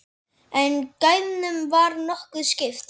En gæðunum var nokkuð skipt.